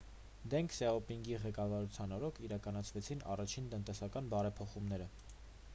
դենգ սյաոպինգի ղեկավարության օրոք իրականացվեցին առաջին տնտեսական բարեփոխումները